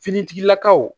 Finitigilakaw